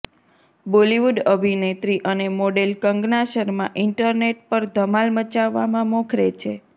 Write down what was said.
બોલિવૂડ અભિનેત્રી અને model Kangana Sharma internet પર ધમાલ મચાવવામાં મોખરે છે